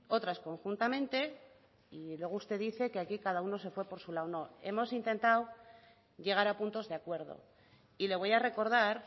otras conjuntamente y luego usted dice que aquí cada uno se fue por su lado no hemos intentado llegar a puntos de acuerdo y le voy a recordar